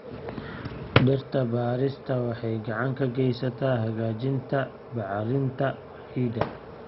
Dhirta beerista waxay gacan ka geysataa hagaajinta bacrinta ciidda.